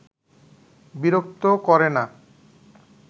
বিরক্ত করে না